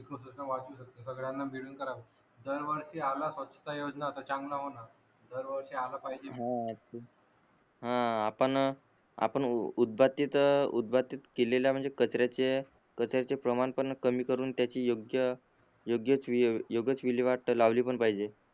हा आपण आपण उदबातीत उदबातीत केलेल्या म्हणजे कचऱ्याचे कचऱ्याचे प्रमाण पण कमी करून त्याची योग्य योग्यच विल्हेवाट लावली पण पाहिजे